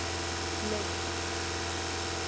Laugarbakka